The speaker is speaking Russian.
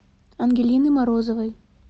ангелины морозовой